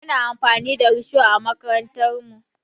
Muna amfani da risho a makarantarmu.